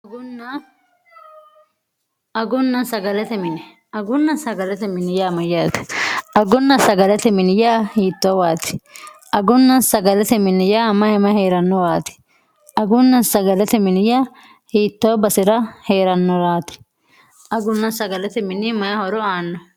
agunna sagalate miniyaa mayyaati aggunna sagalate minya hiittoowaati agunna sagalate miniya mahima hee'rannowaati agunna sagalate miniya hiittoo basi'ra hee'rannoraati agunna sagalete mini mayi horo aanno